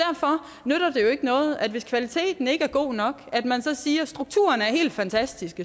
jo ikke noget hvis kvaliteten ikke er god nok at man så siger strukturen er helt fantastisk